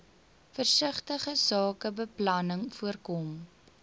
versigtige sakebeplanning voorkom